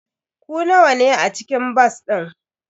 Ku nawa ne a cikin bas din?